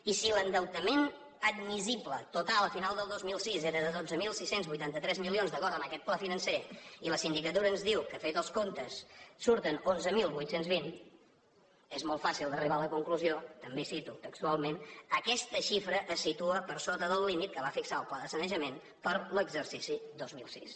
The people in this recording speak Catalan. i si l’endeutament admissible total al final del dos mil sis era de dotze mil sis cents i vuitanta tres milions d’acord amb aquest pla financer i la sindicatura ens diu que fets els comptes surten onze mil vuit cents i vint és molt fàcil d’arribar a la conclusió també cito textualment aquesta xifra es situa per sota del límit que va fixar el pla de sanejament per a l’exercici dos mil sis